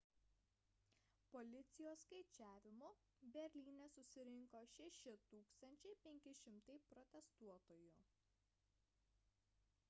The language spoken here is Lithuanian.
policijos skaičiavimu berlyne susirinko 6500 protestuotojų